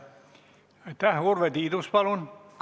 Urve Tiidus, palun!